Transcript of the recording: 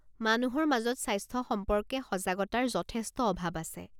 মানুহৰ মাজত স্বাস্থ্য সম্পৰ্কে সজাগতাৰ যথেষ্ট অভাৱ আছে।